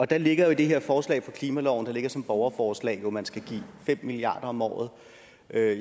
der ligger jo i det her forslag klimalov der ligger som et borgerforslag at man skal give fem milliard kroner om året